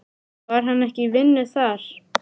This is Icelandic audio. Var hann ekki í vinnu þar?